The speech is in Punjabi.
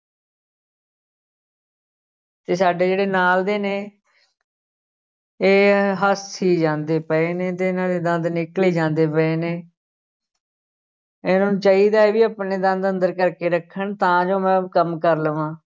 ਤੇ ਸਾਡੇ ਜਿਹੜੇ ਨਾਲ ਦੇ ਨੇ ਇਹ ਹੱਸੀ ਜਾਂਦੇ ਪਏ ਨੇ ਤੇ ਇਹਨਾਂ ਦੇ ਦੰਦ ਨਿਕਲੀ ਜਾਂਦੇ ਪਏ ਨੇ ਇਹਨਾਂ ਨੂੰ ਚਾਹੀਦਾ ਹੈ ਵੀ ਆਪਣੇ ਦੰਦ ਅੰਦਰ ਕਰਕੇ ਰੱਖਣ ਤਾਂ ਜੋ ਮੈਂ ਕੰਮ ਕਰ ਲਵਾਂ।